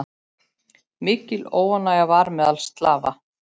Mikil óánægja var meðal slava.